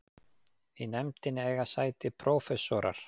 Í nefndinni eiga sæti prófessor